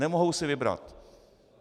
Nemohou si vybrat.